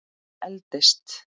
Ég eldist.